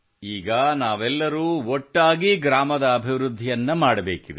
ಈಗ ನಾವೆಲ್ಲರೂ ಒಟ್ಟಾಗಿ ಗ್ರಾಮದ ಅಭಿವೃದ್ಧಿಯನ್ನು ಮಾಡಬೇಕಿದೆ